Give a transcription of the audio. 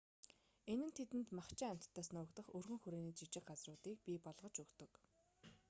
энэ нь тэдэнд махчин амьтдаас нуугдах өргөн хүрээний жижиг газруудыг бий болгож өгдөг